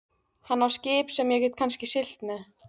Hann á skip sem ég get kannski siglt með.